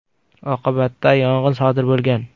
Oqibatda yong‘in sodir bo‘lgan.